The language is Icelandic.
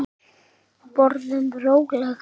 Borðum rólega.